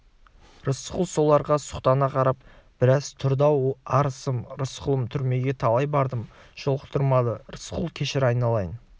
рысқұл соларға сұқтана қарап біраз тұрды оу арысым рысқұлым түрмеге талай бардым жолықтырмады рысқұл кешір айналайын